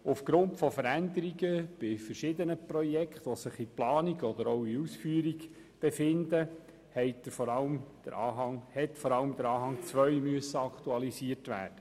Aufgrund von Veränderungen bei verschiedenen sich in Planung oder Ausführung befindlichen Projekten musste vor allem der Anhang 2 aktualisiert werden.